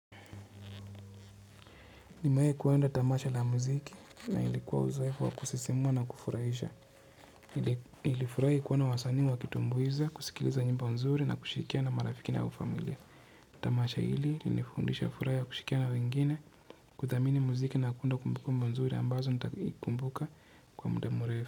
Nimewau kwenda tamasha la muziki na ilikuwa uzoefu wa kusisimua na kufurahisha. Nilifurahi kuona wasanii wakitumbuiza, kusikiliza nyimbo mzuri na kushirikiana na marafiki na au familia. Tamasha hili lilinifundisha furaha ya kushikia na wengine kuthamini muziki na kuunda kumbukumbu nzuri ambazo nitakumbuka kwa muda mrefu.